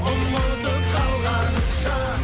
ұмытып қалғаныңша